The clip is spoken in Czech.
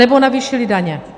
Anebo navýšili daně.